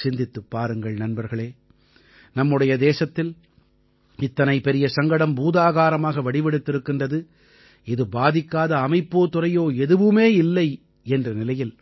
சிந்தித்துப் பாருங்கள் நண்பர்களே நம்முடைய தேசத்தில் இத்தனை பெரிய சங்கடம் பூதாகாரமாக வடிவெடுத்திருக்கிறது இது பாதிக்காத அமைப்போ துறையோ எதுவுமே இல்லை என்ற நிலையில்